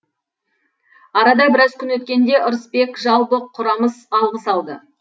арада біраз күн өткенде ырысбек жалбық құрамыс алғыс алды